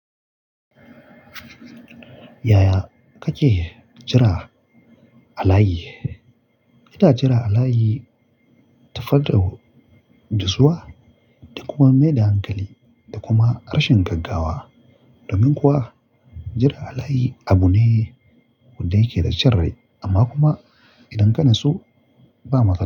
Yaya kake jira a layi? Ina jira a layi ta faɗaɗa gizzuwa da kuma maida hankali da kuma rashin gaggawa. Domin kuwa jira a layi abu ne wanda yake da cin rai amma kuma idan ka natsu ba matsala.